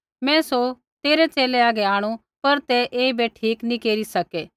मैं सौ तेरै च़ेले हागै आंणु पर ते ऐईबै ठीक नी केरी सकै